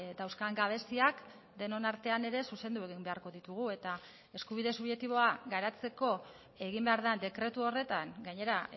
dauzkan gabeziak denon artean ere zuzendu egin beharko ditugu eta eskubide subjektiboa garatzeko egin behar den dekretu horretan gainera